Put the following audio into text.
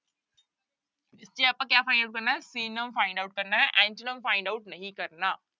ਤੇ ਆਪਾਂ ਕਿਆ ਕਰਨਾ ਹੈ synonym find out ਕਰਨਾ ਹੈ antonym find out ਨਹੀਂ ਕਰਨਾ।